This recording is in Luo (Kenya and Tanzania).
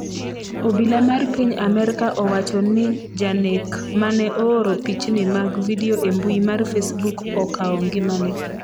Obila mar piny Amerka owacho ni janek mane ooro pichni mag vidio e mbui mar facebook okawo ngimane